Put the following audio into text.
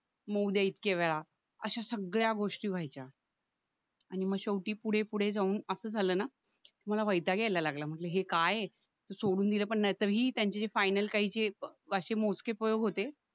मग उद्या इतक्या वेळा अशा सगळ्या गोष्टी व्हायच्या आणि म शेवटी पुढे पुढे जाऊन असं झालं ना मला वैताग यायला लागला मग म्हंटल हे काय आहे सोडून दिल पण नाही तर ही त्यांची जी फायनल पाचशे मोजके फलक होते